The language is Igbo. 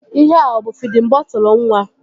Ihea ọ bụ fidin bọtụlu nwa?